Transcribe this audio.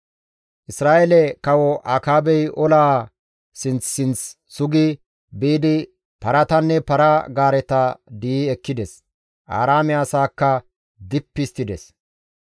Isra7eele kawo Akaabey olaa sinth sinth sugi biidi paratanne para-gaareta di7i ekkides; Aaraame asaakka dippi histtides.